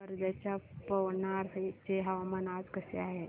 वर्ध्याच्या पवनार चे हवामान आज कसे आहे